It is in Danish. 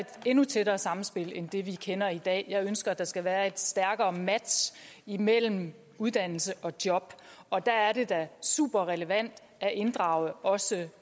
et endnu tættere samspil end det vi kender i dag jeg ønsker at der skal være et stærkere match imellem uddannelse og job og der er det da superrelevant at inddrage også